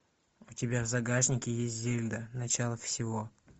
у тебя в загашнике есть зельда начало всего